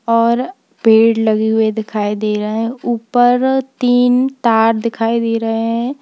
और पेड़ लगे हुए दिखाई दे रहा है ऊपर तीन तार दिखाई दे रहे हैं।